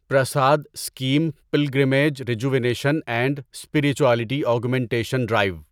Prasad scheme pilgrimage rejuvenation and spirituality augmentation drive